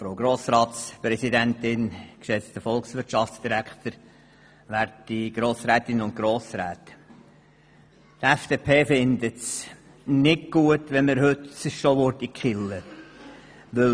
Die FDP-Fraktion hielte es nicht für gut, wenn wir dieses Projekt heute schon killen würden.